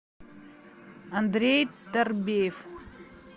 андрей тарбеев